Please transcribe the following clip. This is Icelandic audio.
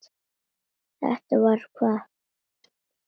Þetta hvað?